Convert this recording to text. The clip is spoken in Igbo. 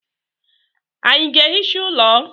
Ànyị ga-ehicha ụlọ?